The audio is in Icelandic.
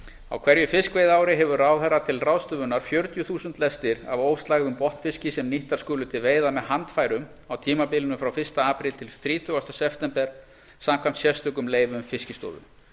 á hverju fiskveiðiári hefur ráðherra til ráðstöfunar fjörutíu þúsund lestir af óslægðum botnfiski sem nýttar skulu til veiða með handfærum á tímabilinu frá fyrsta apríl til þrítugasta september samkvæmt sérstökum leyfum fiskistofu